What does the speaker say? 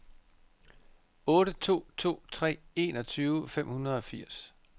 otte to to tre enogtyve fem hundrede og enogfirs